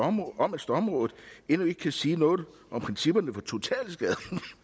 om om at stormrådet endnu ikke kan sige noget om principperne for totalskader